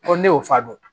ne y'o fa dɔn